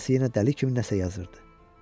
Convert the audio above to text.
Anası yenə dəli kimi nəsə yazırdı.